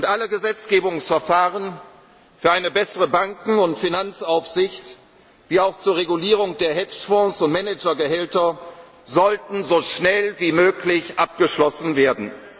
Alle Gesetzgebungsverfahren für eine bessere Banken und Finanzaufsicht wie auch zur Regulierung der Hedgefonds und Managergehälter sollten so schnell wie möglich abgeschlossen